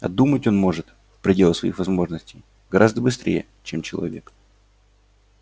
а думать он может в пределах своих возможностей гораздо быстрее чем человек